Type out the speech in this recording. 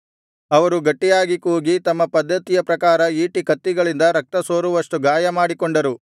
ಅವರು ಗಟ್ಟಿಯಾಗಿ ಕೂಗಿ ತಮ್ಮ ಪದ್ದತಿಯ ಪ್ರಕಾರ ಈಟಿ ಕತ್ತಿಗಳಿಂದ ರಕ್ತಸೋರುವಷ್ಟು ಗಾಯಮಾಡಿಕೊಂಡರು